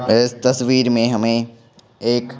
इस तस्वीर में हमें एक--